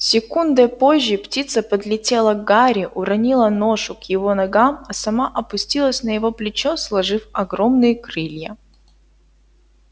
секундой позже птица подлетела к гарри уронила ношу к его ногам а сама опустилась на его плечо сложив огромные крылья